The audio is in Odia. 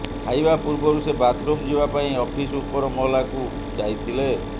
ଖାଇବା ପୂର୍ବରୁ ସେ ବାଥ୍ରୁମ୍ ଯିବା ପାଇଁ ଅଫିସ ଉପର ମହଲାକୁ ଯାଇଥିଲେ